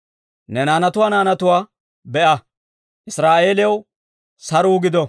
Ne naanatuwaa naanatuwaa be'a! Israa'eeliyaw saruu gido!